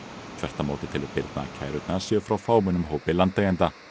þvert á móti telur Birna að kærurnar séu frá fámennum hópi landeigenda